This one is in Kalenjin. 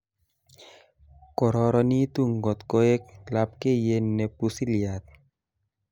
kororonitu ngotkoek labkeyet ne pusiliat